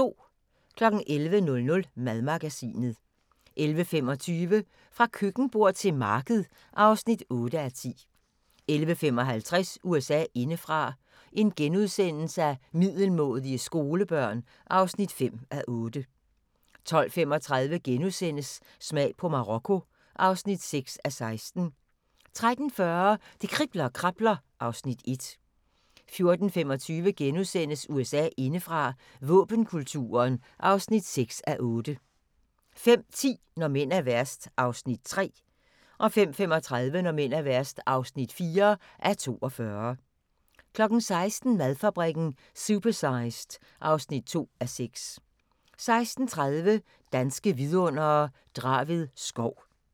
11:00: Madmagasinet 11:25: Fra køkkenbord til marked (8:10) 11:55: USA indefra: Middelmådige skolebørn (5:8)* 12:35: Smag på Marokko (6:16)* 13:40: Det kribler og krabler (Afs. 1) 14:25: USA indefra: Våbenkulturen (6:8)* 15:10: Når mænd er værst (3:42) 15:35: Når mænd er værst (4:42) 16:00: Madfabrikken – Supersized (2:6) 16:30: Danske Vidundere: Draved skov